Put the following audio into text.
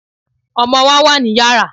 Ọmọ wa wà ní Yàrá.